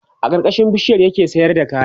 a karkashin bishiyar ya ke sayar da kaya